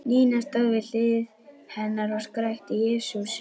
Nína stóð við hlið hennar og skrækti: Jesús!